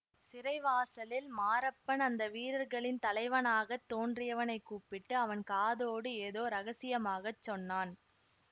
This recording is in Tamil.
சிறைவாசலில் மாரப்பன் அந்த வீரர்களின் தலைவனாகத் தோன்றியவனைக் கூப்பிட்டு அவன் காதோடு ஏதோ இரகசியமாகச் சொன்னான்